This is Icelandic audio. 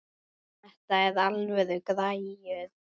Þetta eru alvöru græjur.